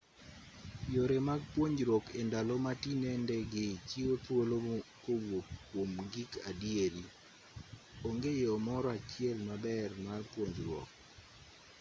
yore mag puonjruok e ndalo ma tinende gi chiwo thuolo kowuok kwom gik adieri onge yo moro achiel maber mar puonjruok